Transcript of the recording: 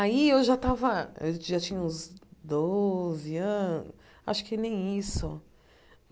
Aí eu já tava eu já tinha uns doze anos, acho que nem isso.